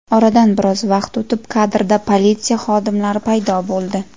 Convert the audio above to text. Oradan biroz vaqt o‘tib kadrda politsiya xodimlari paydo bo‘ldi.